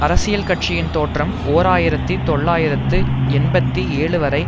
அரசியல் கட்சியின் தோற்றம் ஓர் ஆயிரத்தி தொள்ளாயிரத்து எண்பத்தி ஏழுவரை